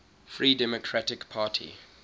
free democratic party